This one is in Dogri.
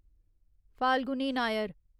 फाल्गुनी नायर